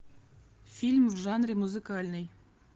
фильм в жанре музыкальный